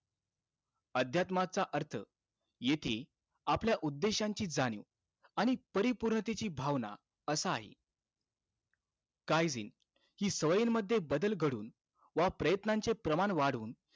अध्यात्माचा अर्थ येथे आपल्या उद्देशांची जाणीव आणि परिपूर्ततेची भावना असा आहे. काळजी, हि सवयींमध्ये बदल घडवून व प्रयत्नांचे प्रमाण वाढवून,